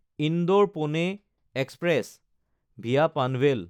Indore-Pune express (VA Panvel)